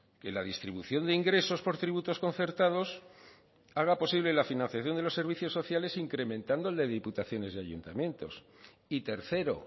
que la distribución de ingresos por tributos concertados haga posible la financiación de los servicios sociales incrementando el de diputaciones y ayuntamientos y tercero